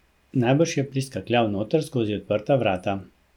Najbrž je priskakljal noter skozi odprta vrata.